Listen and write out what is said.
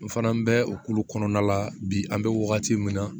N fana bɛ o kulu kɔnɔna la bi an bɛ wagati min na